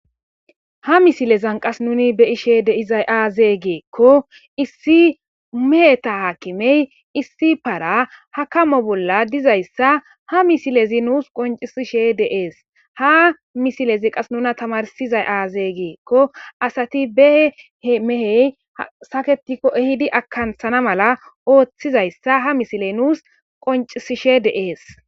ha misilezan qas nuni be ishe deizay aazee geekko issi meheta haakimey issi para hakamo bolla dizayssa ha misilezi nuus qoncisishe deees ha misilezi qas nuna tamarsizay aaze geekko asati behe he mehey saketikko ehidi akanthana mala ooththizayssa ha misiley nuus qoncisishe deees